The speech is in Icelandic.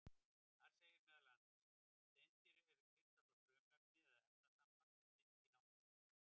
Þar segir meðal annars: Steindir eru kristallað frumefni eða efnasamband sem finnst í náttúrunni.